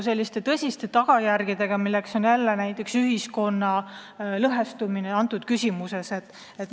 ... tekiks tõsiseid tagajärgi, milleks on näiteks ühiskonna lõhestumine selles küsimuses.